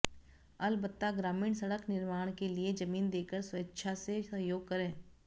अलबत्ता ग्रामीण सड़क निर्माण के लिए जमीन देकर स्वेच्छा से सहयोग करें